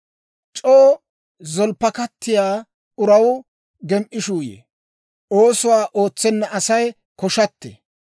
C'oo zolppakkattiyaa uraw gem"ishuu yee; oosuwaa ootsenna Asay koshattee.